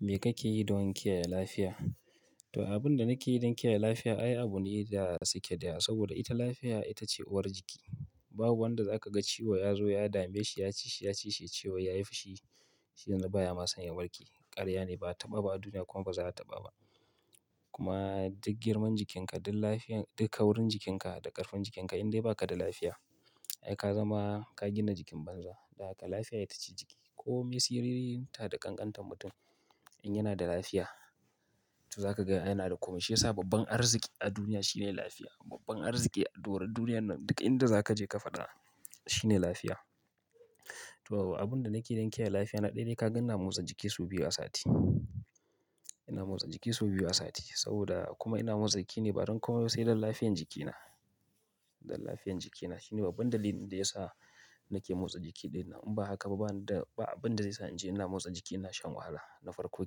Me kake yi don kiyaye lafiya? To abun da nake yi don kiyaye lafiya ai abu ne da sake da saboda ita lafiya ita ce uwar jiki. Babu wanda za ka ga ciwo ya zo ya dame shi, ya cishi, ya cishi ciwo ya yi fushi, shine baya ma sanya warki. Ƙarya ne, ba a taɓa ba a duniya kuma ba za a taɓa ba. Kuma duk girman jikinka, duk lafiyan, duk kawurin jikinka da ƙarfin jikinka indai baka da lafiya, ai ka zama ka gina jikin banza. Da haka lafiya ita ce jiki. Komai siririnta da ƙanƙantar mutum in yana da lafiya to za ka ga yana da komai. Shi ya sa babban arziki a duniya shine lafiya. Babban arziki a doron duniya nan duka inda za ka je ka faɗa shine lafiya. To abun da nake yi don kiyaye lafiya na ɗaya dai ka gan inde na motsa jiki sau biyu a sati. Ina motsa jiki sau biyu a sati saboda kuma ina motsa jiki ne ba don komai ba sai don lafiyan jikina, don lafiyan jikina. Shine babban dalilin da ya sa nake motsa jiki ɗai nawa. In ba haka ba ba wanda ba abun da zai sa in je ina motsa jiki, ina shan wahala, na farko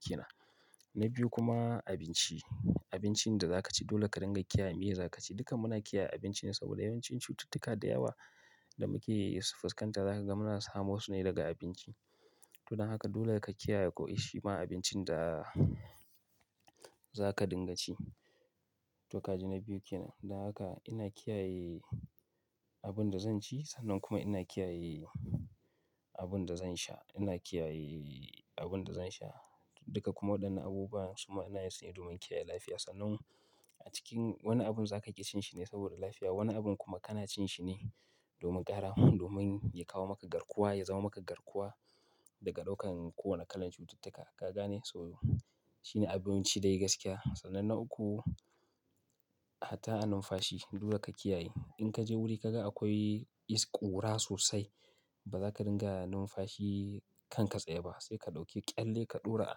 ke nan. Na biyu kuma abinci. Abincin da za ka ci dole ka dinga kiyaye meye za ka ci. Duka muna kiyaye abinci ne saboda yawancin cututtuka da yawa da muke yi su fuskanta za ka ga muna samu wasu ne daga abinci. Tun haka dole ka kiyaye ko ishi ma abincin da za ka dinga ci. To kaji na biyu kenan. Dan haka ina kiyaye abun da zan ci sannan kuma ina kiyaye abun da zan sha. Ina kiyaye abun da zan sha, duka kuma waɗannan abubuwa suma ina yin su ne domin kiyaye lafiya. Sannan a cikin wani abun za ka ki cin shi ne saboda lafiya. Wani abun kuma kana cin shi ne domin ƙara, domin ya kawo maka garkuwa, ya zama maka garkuwa daga ɗaukan kowane kalan cututtuka. Ka gane? So shine abinci da yayi gaskiya. Sannan na uku, A hatta har numfashi dole ka kiyaye. In ka je wuri ka ga akwai isƙura sosai ba za ka dinga numfashi kan ka tsaye ba sai ka ɗauki ƙyalle ka ɗora a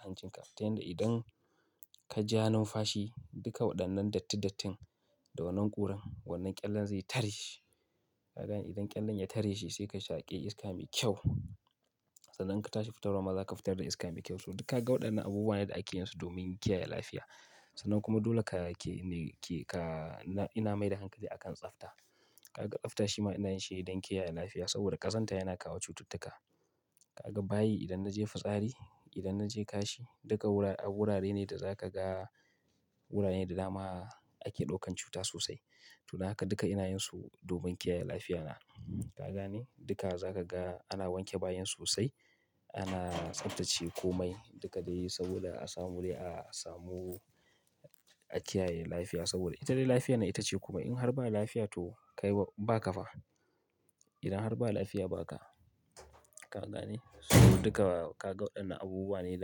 hancinka. Ta yanda idan ka ja numfashi duka waɗannan datti dattin da wannan ƙuran wannan ƙyallen zai tare shi. Ka ga idan ƙyallen ya tare shi sai ka shaƙe iska mai kyau. Sannan ka tashi fitarwa ma za ka fitar da iska mai kyau. So duka ka ga waɗannan abubuwa ne da ake yin su domin kiyaye lafiya. Sannan kuma dole ka ke ne ke ka ina mai da hankali a kan tsafta. Ka ga tsafta shima ina yin shi don kiyaye lafiya saboda ƙazanta yana kawo cututtuka. Ka ga bayi idan na je fitsari, idan na je kashi duka a wurare awurare ne da za ka ga wuraren da dama ake ɗaukan cutta sosai. To kaji na biyu kenan. Dan haka ina kiyaye abun da zan ci sannan kuma ina kiyaye abun da zan sha. Ina kiyaye abun da zan sha duka kuma waɗannan abubuwa suna yin su ne domin kiyaye lafiya. Ka gane dukka zaka ga ana wanke bayan sosai ana tsabtace komai duka dai saboda a samu wuri a samu, a kiyaye lafiya sobada ita dai lafiya nan itace kawai har ba lafiya toh kayiwa, in baka fa idan har ba lafiya ba ka. Har Allah ne, sau duka ga gan waen nan abubuwa ne,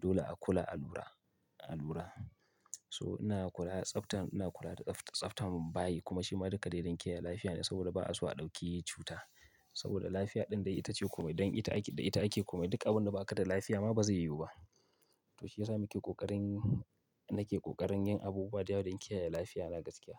dole a kulla alura, a lura inna kulla tsabtan inna kulla tsabtar bayyi kuma shi ma duka dai dan kiyaye lafiya saboda ba'a so a dauki cutta. Saboda lafiya din dai itace komai dan don ita ake, da ita ake komai Duk abinda ba ka da lafiya ma ba zai yiwu ba. Dan shiyasa muke kokarin, nake kokarin yin abubuwa da yawwa don kiyaye lafiya na da gaskiya.